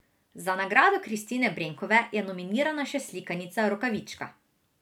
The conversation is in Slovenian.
Za nagrado Kristine Brenkove je nominirana še slikanica Rokavička.